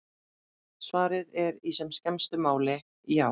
Svarið er í sem skemmstu máli: Já!